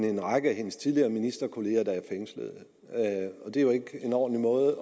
en række af hendes tidligere ministerkolleger der er fængslet det er jo ikke en ordentlig måde